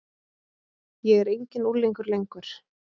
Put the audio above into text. Ég er enginn unglingur lengur.